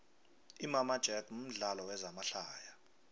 imama jack mudlalo wezama hlaya